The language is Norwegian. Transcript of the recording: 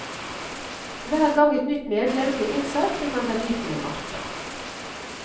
Hver gang et nytt medlem ble innsatt fikk han verdifulle matter.